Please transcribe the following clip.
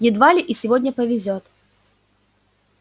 едва ли и сегодня повезёт